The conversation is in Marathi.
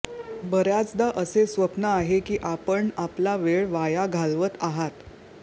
बर्याचदा असे स्वप्न आहे की आपण आपला वेळ वाया घालवत आहात